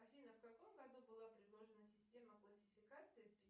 афина в каком году была предложена система классификации